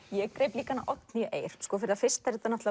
ég greip líka Oddnýju Eir fyrir það fyrsta er þetta